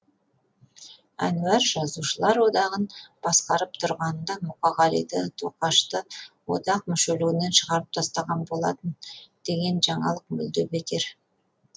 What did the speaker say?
әнуар жазушылар одағын басқарып тұрғанында мұқағалиды тоқашты одақ мүшелігінен шығарып тастаған болатын деген жаңалық мүлде бекер